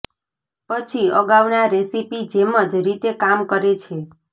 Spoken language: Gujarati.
પછી અગાઉના રેસીપી જેમ જ રીતે કામ કરે છે